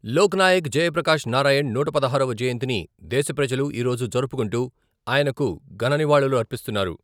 లోకనాయక్ జయప్రకాష్ నారాయణ్ నూట పదహారవ జయంతిని దేశ ప్రజలు ఈరోజు జరుపుకుంటూ ఆయనకు ఘన నివాళులర్పిస్తున్నారు.